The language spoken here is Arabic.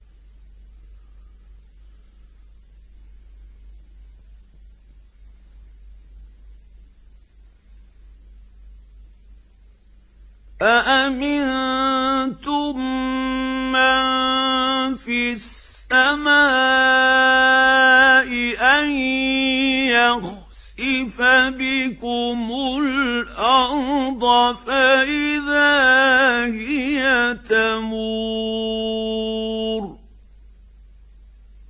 أَأَمِنتُم مَّن فِي السَّمَاءِ أَن يَخْسِفَ بِكُمُ الْأَرْضَ فَإِذَا هِيَ تَمُورُ